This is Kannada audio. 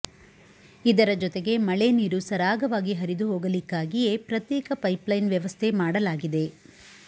ಇದರ ಜತೆಗೆ ಮಳೆ ನೀರು ಸರಾಗವಾಗಿ ಹರಿದು ಹೋಗಲಿಕ್ಕಾಗಿಯೇ ಪ್ರತ್ಯೇಕ ಪೈಪ್ಲೈನ್ ವ್ಯವಸ್ಥೆ ಮಾಡಲಾಗಿದೆ